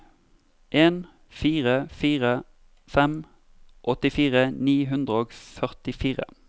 en fire fire fem åttifire ni hundre og førtifire